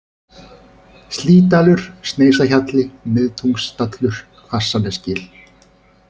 Slýdalur, Sneisahjalli, Miðtungustallur, Hvassnesgil